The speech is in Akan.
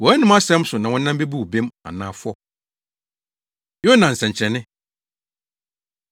Wʼanom asɛm so na wɔnam bebu wo bem anaa fɔ.” Yona Nsɛnkyerɛnne